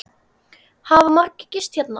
Hafa margir gist hérna?